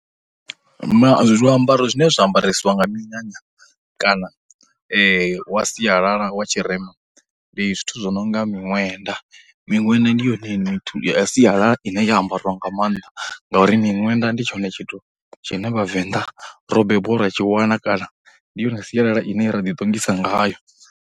zwiambaro zwine zwa ambaresiwa nga minyanya, kana wa sialala wa tshirema ndi zwithu zwo no nga miṅwenda, miṅwenda ndi yone ya sialala ine ya ambariwa nga maanḓa, ngauri miṅwenda ndi tshone tshithu tshine vhavenḓa ro bebiwa ra tshi wana, kana ndi yone sialala ine i ra ḓi ṱongisa ngayo.